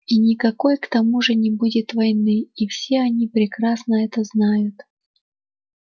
и никакой к тому же не будет войны и все они прекрасно это знают